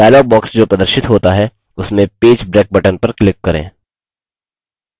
dialog box जो प्रदर्शित होता है उसमें page break button पर click करें